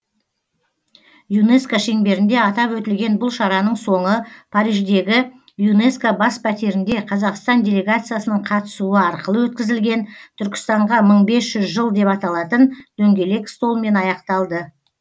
юнеско шеңберінде атап өтілген бұл шараның соңы париждегі юнеско бас пәтерінде қазақстан делегациясының қатысуы арқылы өткізілген түркістанға мың бес жүз жыл деп аталатын дөңгелек столмен аяқталды